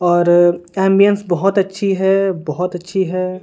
और एंबियंस बहुत अच्छी है बहुत अच्छी है।